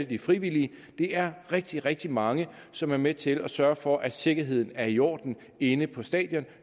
de frivillige det er rigtig rigtig mange som er med til at sørge for at sikkerheden er i orden inde på stadion